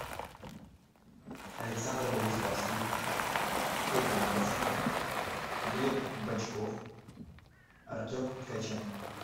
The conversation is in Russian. александр богуславский эдди марсан глеб бочков артем ткаченко